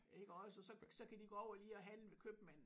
Iggås og så så kan de gå over lige og handle ved købmanden